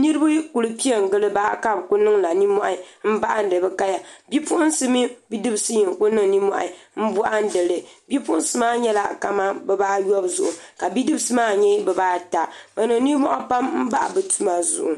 niraba ku piɛ n giliba ka bi ku niŋla nimmohi n bohandi bi kaya bipuɣunsi mini bidibsi n ku niŋ nimmohi n bohandi li bipuɣunsi maa nyɛla kamani bibaayobu zuɣu ka bipuɣunsi maa nyɛ bibaata bi niŋ nimmohi pam n bahi bi tuma zuɣu